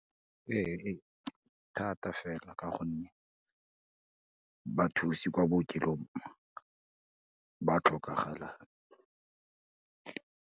Ee e thata fela, ka gonne bathusi kwa bookelong ba tlhokagala.